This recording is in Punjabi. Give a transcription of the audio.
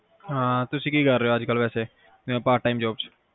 ਅਹ ਹਾਂ ਤੁਸੀਂ ਕੀ ਕਰ ਰਹੇ ਹੋ ਅੱਜ ਕਲ ਵੈਸੇ, ਜਿਵੇ Part time job ਚ